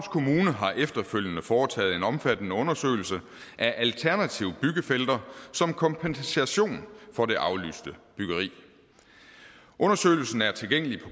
kommune har efterfølgende foretaget en omfattende undersøgelse af alternative byggefelter som kompensation for det aflyste byggeri undersøgelsen er tilgængelig på